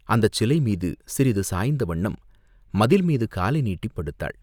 அந்தச் சிலைமீது சிறிது சாய்ந்த வண்ணம் மதில் மீது காலை நீட்டிப் படுத்தாள்.